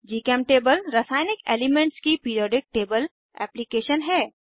जीचेमटेबल रासायनिक एलीमेन्ट्स की periodic table application है